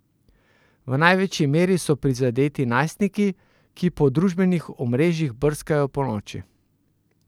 V največji meri so prizadeti najstniki, ki po družbenih omrežjih brskajo ponoči.